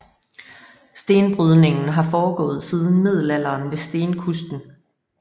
Stenbrydningen har foregået siden middelalderen ved Stenkusten